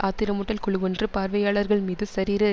ஆத்திரமூட்டல் குழுவொன்று பார்வையாளர்கள் மீது சரீர